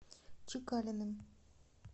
чекалиным